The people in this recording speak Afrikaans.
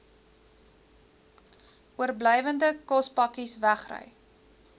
oorblywende kospakkes wegry